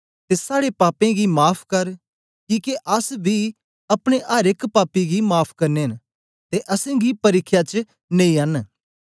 ते साड़े पापें गी माफ़ कर किके अस बी अपने अर एक पापी गी माफ़ करने न ते असेंगी परिख्या च नेई अन